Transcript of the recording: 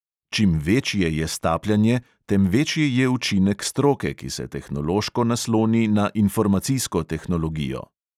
Čim večje je stapljanje, tem večji je učinek stroke, ki se tehnološko nasloni na informacijsko tehnologijo.